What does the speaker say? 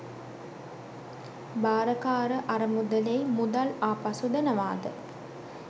භාරකාර අරමුදලෙයි මුදල් ආපසු දෙනවාද?